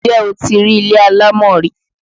Ǹjẹ́ o ti rí ilé alámọ̀ rí?